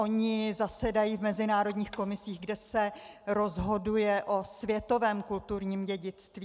Oni zasedají v mezinárodních komisích, kde se rozhoduje o světovém kulturním dědictví.